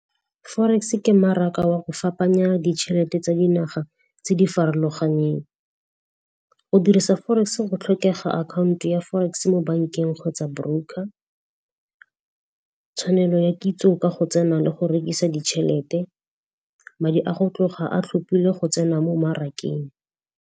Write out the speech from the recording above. Forex ke mmaraka wa go fapana ditšhelete tsa dinaga tse di farologaneng. Go dirisa forex go tlhokega akhaonto ya forex-e mo bankeng go tsa broker, tshwanelo ya kitso ka go tsena le go rekisa ditšhelete, madi a go tloga a tlhophile go tsena mo mmarakeng.